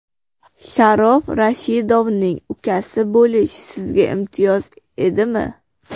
Sharof Rashidovning ukasi bo‘lish sizga imtiyoz edimi?